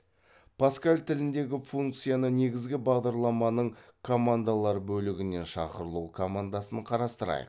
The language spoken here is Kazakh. паскаль тіліндегі функцияны негізгі бағдарламаның командалар бөлігінен шақырылу командасын қарастырайық